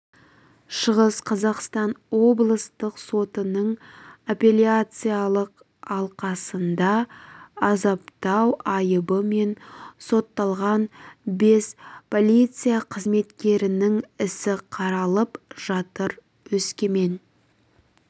шығыс қазақстан облыстық сотының апелляциялық алқасында азаптау айыбымен сотталған бес полиция қызметкерінің ісі қаралып жатыр өскемен